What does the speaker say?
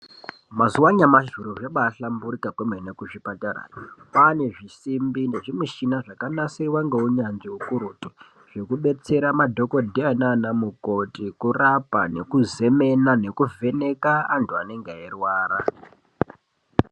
Mazuva anyamashi zviro zvabahlamburika kwemene kuzvipatara. Kwane zvisimbi nezvimichina zvakanasirwa ngeunyanzvi hukurutu. Zvekubetsera madhogodheya nana mukoti kurapa nekuzemena nekuvheneka antu anenge eirwara.